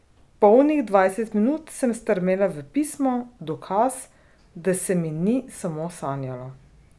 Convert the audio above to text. Polnih dvajset minut sem strmela v pismo, dokaz, da se mi ni samo sanjalo.